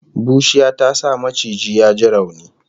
Bushiya ta sa maciji ya ji rauni